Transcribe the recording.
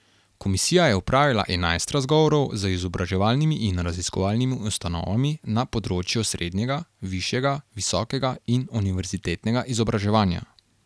Komisija je opravila enajst razgovorov z izobraževalnimi in raziskovalnimi ustanovami na področju srednjega, višjega, visokega in univerzitetnega izobraževanja.